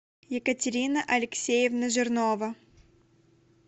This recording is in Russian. екатерина алексеевна жирнова